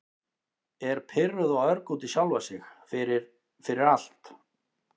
Er pirruð og örg út í sjálfa sig fyrir- fyrir allt.